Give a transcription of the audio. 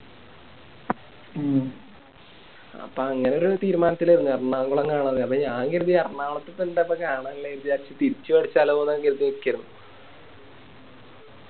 അപ്പൊ അങ്ങനൊരു തീരുമാനത്തിലാരുന്നു എറണാകുളം കാണാനുള്ളേ അപ്പൊ ഞാൻ കെരിതി തിരിച്ച് ലോന്ന് കെരിതി നിക്കരുന്നു